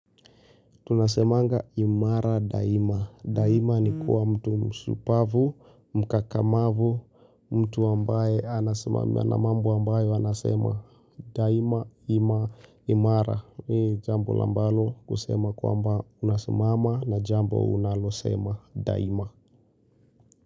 Tunasemanga imara daima. Daima ni kuwa mtu mshupavu, mkakamavu, mtu ambaye anasimama na mambo ambaye anasema. Daima imara ni jambo la ambalo kusema kuamba unasmama na jambo unalosema daima.